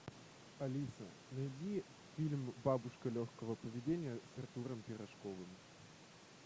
алиса найди фильм бабушка легкого поведения с артуром пирожковым